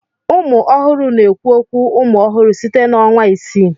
Ụmụ ọhụrụ na-ekwu okwu umụ ọhụrụ site na ọnwa isii.